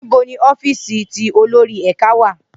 Nibo ni ọfíìsì ti olori ẹka wa?